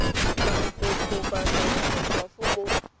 la go kokobatsa makgwafo mo